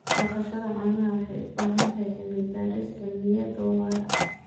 Dhaqashada caanaha waxay u baahan tahay cilmi-baaris cilmiyeed oo waara.